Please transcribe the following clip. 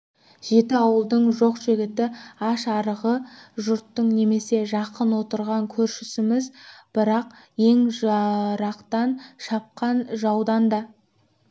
жеті ауылдың жоқ-жігіті аш-арығы жұртың немене жақын отырған көршісіміз бірақ ең жырақтан шапқан жаудан да